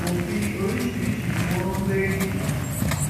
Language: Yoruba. òfin oríṣiríṣiì ni wọn ń gbé dìde